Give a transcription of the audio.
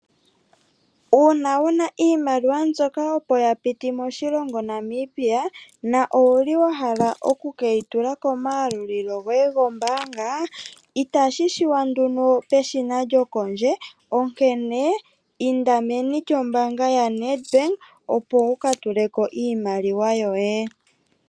Uuna wuna iimaliwa mbyoka opo ya piti moshilongo Namibia na owuli wa hala oku keyi tula koma yalulilo goye go mbaanga, itashi shiwa nduno peshina djokondje, onkene inda meni djombaanga ya Ned bank opo wuka tuleko iimaliwa yoye.